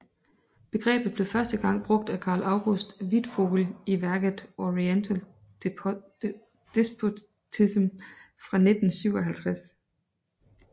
Begrebet blev første gang brugt af Karl August Wittfogel i værket Oriental Despotism fra 1957